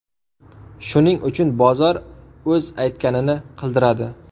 Shuning uchun bozor o‘z aytganini qildiradi.